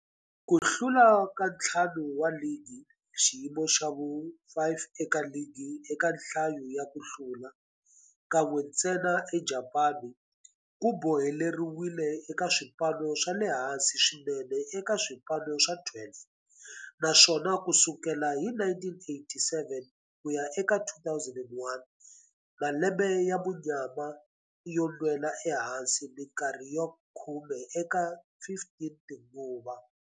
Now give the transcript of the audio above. Ku hlula ka ntlhanu wa ligi, m xiyimo xa vu-5 eka ligi eka nhlayo ya ku hlula, kan'we ntsena eJapani ku boheleriwile eka swipano swa le hansi swinene eka swipano swa 12, naswona ku sukela hi 1987 ku ya eka 2001, malembe ya munyama yo nwela ehansi minkarhi ya khume eka 15 tinguva.